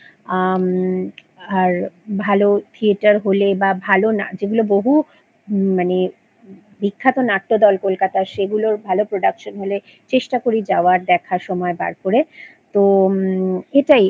আম আর ভালো থিয়েটার হলে বা ভালো না যেগুলো বহু মানে বিখ্যাত নাট্যদল কলকাতার সেগুলোর ভালো Production হলে চেষ্টা করি যাওয়ার দেখার সময় বার করে তো উম তো এটাই